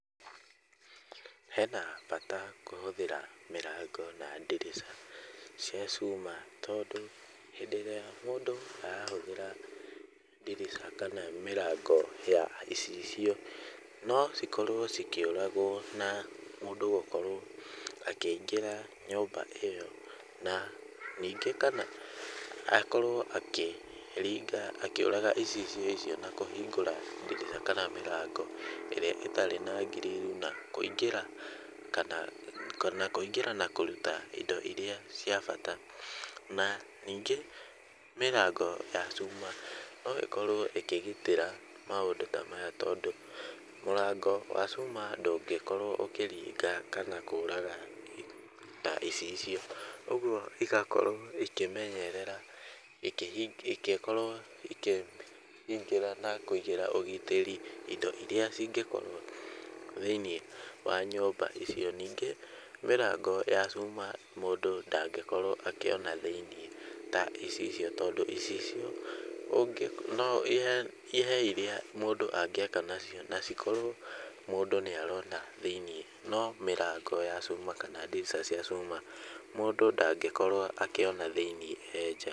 Hena bata kũhũthĩra mĩrango na ndirica cia cuma tondũ hĩndĩ ĩrĩa mũndũ arahũthĩra ndirica kana mĩrango ya icicio no cikorwo cikĩũragwo na mũndũ gũkorwo akĩingĩra nyũmba ĩyo, na ningĩ kana akorwo akĩringa akĩũraga icicio icio na kũhingũra ndirica kana mĩrango ĩrĩa ĩtarĩ na grill na kũingĩra kana kana kũingĩra na kũruta indo iria cia bata, na ningĩ mĩrango ya cuma no ĩkorwo ĩkĩgitĩra maũndũ ta maya tondũ, mũrango wa cuma ndũngĩkorwo ũkĩringa kana kũraga ta icicio, ũguo igakorwo ikĩmenyerera ikĩkorwo ikĩhingĩra na kũigĩra ũgitĩri indo iria cingĩkorwo thĩiniĩ wa nyũmba icio. Ningĩ mĩrango ya cuma mũndũ ndangĩkorwo akĩona thĩiniĩ ta icicio tondũ icicio ũngĩko he iria mũndũ angĩaka nacio na cikorwo mũndũ nĩarona thĩiniĩ, no mĩrango ya cuma kana ndirica cia cuma mũndũ ndangĩkorwo akĩona thĩiniĩ e nja.